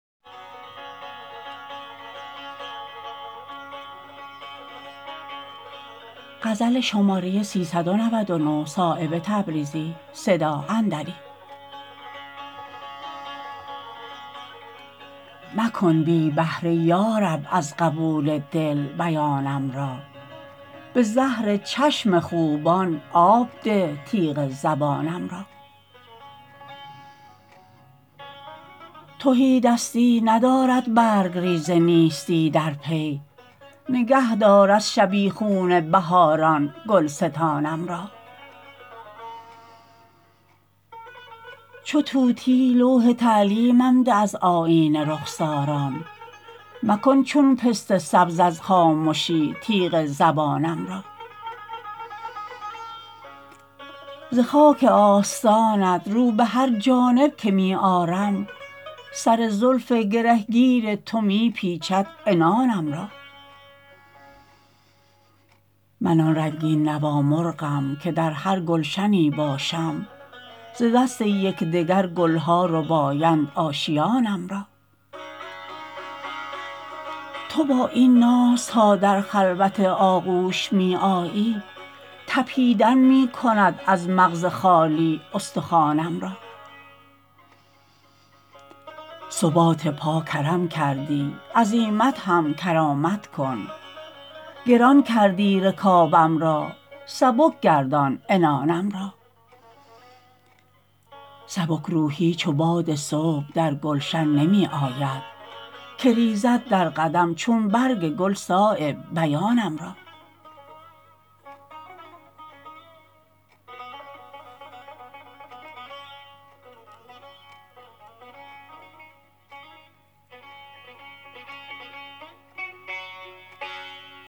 مکن بی بهره یارب از قبول دل بیانم را به زهر چشم خوبان آب ده تیغ زبانم را تهیدستی ندارد برگریز نیستی در پی نگه دار از شبیخون بهاران گلستانم را چو طوطی لوح تعلیمم ده از آیینه رخساران مکن چون پسته سبز از خامشی تیغ زبانم را ز خاک آستانت رو به هر جانب که می آرم سر زلف گرهگیر تو می پیچد عنانم را من آن رنگین نوا مرغم که در هر گلشنی باشم ز دست یکدگر گلها ربایند آشیانم را تو با این ناز تا در خلوت آغوش می آیی تپیدن می کند از مغز خالی استخوانم را ثبات پا کرم کردی عزیمت هم کرامت کن گران کردی رکابم را سبک گردان عنانم را سبکروحی چو باد صبح در گلشن نمی آید که ریزد در قدم چون برگ گل صایب بیانم را